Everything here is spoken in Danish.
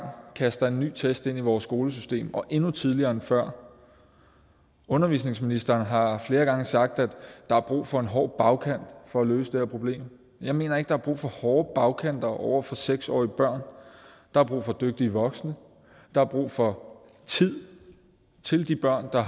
kaster en ny test ind i vores skolesystem og endnu tidligere end før undervisningsministeren har flere gange sagt at der er brug for en hård bagkant for at løse det her problem jeg mener ikke der er brug for hårde bagkanter over for seks årige børn der er brug for dygtige voksne der er brug for tid til de børn der